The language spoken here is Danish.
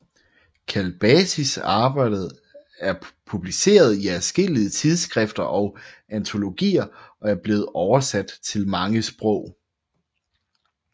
Kalbasis arbejde er publiceret i adskillige tidsskrifter og antologier og er blevet oversat til mange sprog